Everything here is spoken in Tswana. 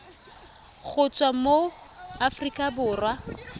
go tswa mo aforika borwa